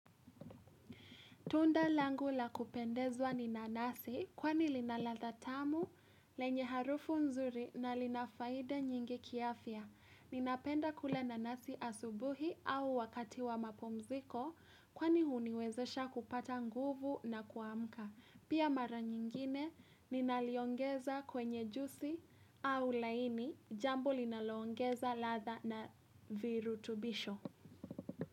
Tunda langula kupendezwa ni nanasi kwani linaladha tamu lenye harufu nzuri na linafaida nyingi kiafya. Ninapenda kula nanasi asubuhi au wakati wa mapumziko kwani huniwezesha kupata nguvu na kuamka. Pia mara nyingine ninaliongeza kwenye juisi au laini jambo linaloongeza ladha na viru tubisho.